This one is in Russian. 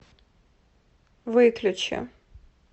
выключи